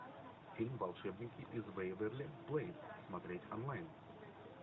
фильм волшебники из вэйверли плэйс смотреть онлайн